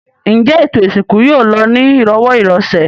Ǹjẹ́ ètò ìsìnkú yóò lọ ní ìrọ̀wọ́-ìrọsẹ̀?